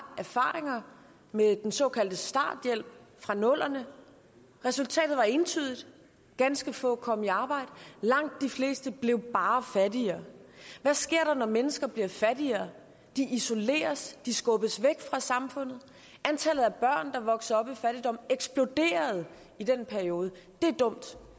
erfaringer med den såkaldte starthjælp fra nullerne resultatet var entydigt ganske få kom i arbejde og langt de fleste blev bare fattigere hvad sker der når mennesker bliver fattigere de isoleres de skubbes væk fra samfundet antallet af børn der voksede op i fattigdom eksploderede i den periode det er dumt